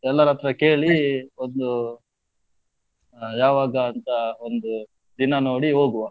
ಎಲ್ಲರ್ ಹತ್ರ ಒಂದು, ಯಾವಾಗ ಅಂತ ಒಂದು ದಿನ ನೋಡಿ ಹೋಗ್ವಾ?